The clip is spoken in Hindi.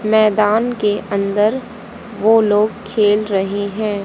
मैदान के अंदर वो लोग खेल रहे हैं।